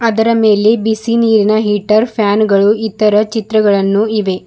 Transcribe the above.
ಅದರ ಮೇಲೆ ಬಿಸಿ ನೀರಿನ ಹೀಟರ್ ಫ್ಯಾನ್ ಗಳು ಇತರ ಚಿತ್ರಗಳನ್ನು ಇವೆ.